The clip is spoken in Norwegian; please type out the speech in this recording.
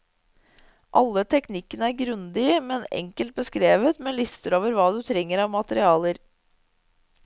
Alle teknikkene er grundig, men enkelt beskrevet, med lister over hva du trenger av materialer.